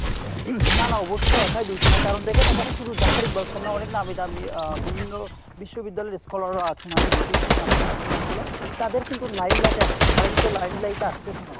না না অবশ্যই একই দোষী না কারণ দেখেন এখানে শুধু Zafar Iqbal না অনেক নামি দামি আহ বিভিন্য বিশ্ববিদ্যালয়ের scholar রাও আছেন আমি আমি দেখেছি নাম তাদের নাম গুলা তাদের কিন্তু limelight এ আসছে না তারা কিন্তু limelight এ আসতেছে না।